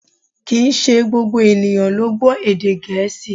Kìí ṣe gbogbo ènìyàn ló gbọ́ èdè Gẹ̀ẹ́sì